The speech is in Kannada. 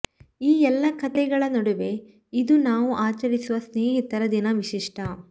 ಈ ಎಲ್ಲಾ ಕಥೆಗಳ ನಡುವೆ ಇದು ನಾವು ಆಚರಿಸುವ ಸ್ನೇಹಿತರ ದಿನ ವಿಶಿಷ್ಟ